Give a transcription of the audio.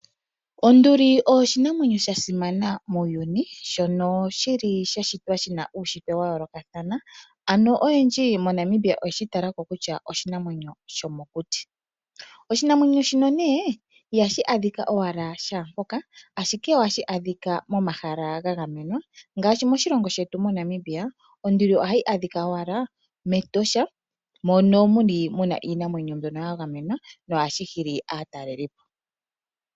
Onduli oyo oshinamwenyo sha simana muuyuni shono shili sha shitwa shi na uushitwe wa yoolokathana. Ano oyendji moNamibia oye shi tala ko kutya oshinamwenyo shomokuti. Oshinamwenyo shino nee ihashi adhika owala shaampoka ashike oha shi adhika momahala ga gamenwa ngaashi moshilongo shetu moNamibia onduli ohayi adhika owala mEtosha mono mu na iinamwenyo ya gamenwa, sho ohashi hili aatalelipo.